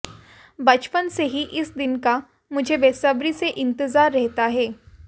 बचपन से ही इस दिन का मुझे बेसब्री से इंतजार रहता है